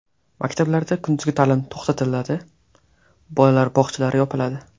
Maktablarda kunduzgi ta’lim to‘xtatiladi, bolalar bog‘chalari yopiladi.